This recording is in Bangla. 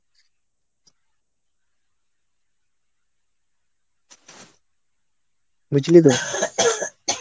বুঝলি তো?